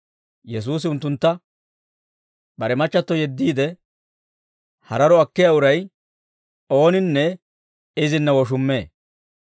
Yesuusi unttuntta, «Bare machchatto yeddiide, hararo akkiyaa uray ooninne izinna woshummee.